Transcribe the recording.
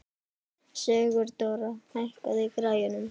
Sigurdóra, hækkaðu í græjunum.